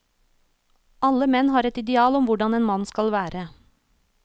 Alle menn har et ideal om hvordan en mann skal være.